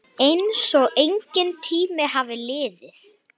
Einsog enginn tími hafi liðið.